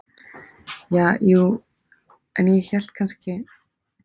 Ja, jú, en ég hélt kannski.